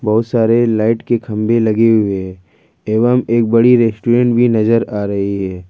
बहुत सारे लाइट की खंभे लगी हुए है एवं एक बड़ी रेस्टोरेंट भी नजर आ रही है।